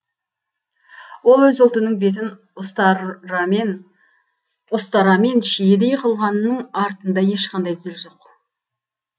ол өз ұлтының бетін ұстарамен шиедей қылғанның артында ешқандай зіл жоқ